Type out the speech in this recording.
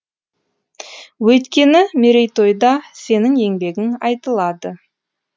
өйткені мерейтойда сенің еңбегің айтылады